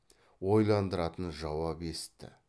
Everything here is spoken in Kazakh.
ойландыратын жауап есітті